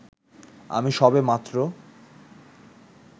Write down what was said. আমি সবেমাত্র